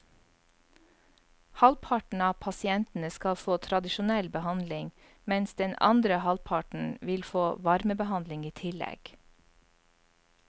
Halvparten av pasientene skal få tradisjonell behandling, mens den andre halvparten vil få varmebehandling i tillegg.